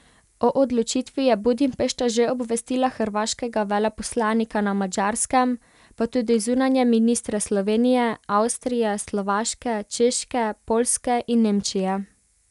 O odločitvi je Budimpešta že obvestila hrvaškega veleposlanika na Madžarskem, pa tudi zunanje ministre Slovenije, Avstrije, Slovaške, Češke, Poljske in Nemčije.